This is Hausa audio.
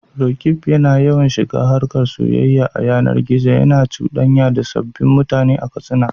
Roqeeb yana yawan shiga harkar soyayya ta yanar gizo, yana cuɗanya da sabbin mutane a Katsina.